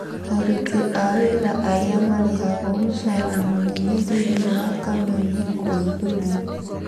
Aruti a wĩra arĩa marĩhagwo musara mũnene thĩiniĩ wa kameme kũhithũrio.